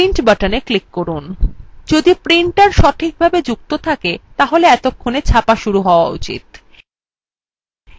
যদি printer সঠিকভাবে যুক্ত থাকে তাহলে এতক্ষণে ছাপা শুরু হওয়া উচিত